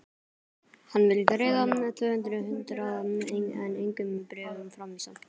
Hann vill greiða tvö hundruð hundraða en engum bréfum framvísa!